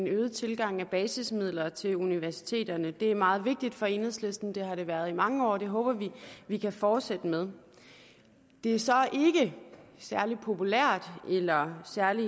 øget tilgang af basismidler til universiteterne det er meget vigtigt for enhedslisten det har det været i mange år og det håber vi vi kan fortsætte med det er så ikke særlig populært eller særlig